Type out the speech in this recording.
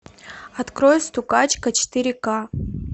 открой стукачка четыре к